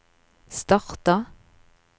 starta